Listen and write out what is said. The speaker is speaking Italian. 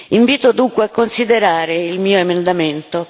Invito dunque a considerare il mio emendamento.